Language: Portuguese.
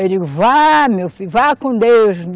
Eu digo, vá, meu filho, vá com Deus.